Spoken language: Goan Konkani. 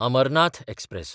अमरनाथ एक्सप्रॅस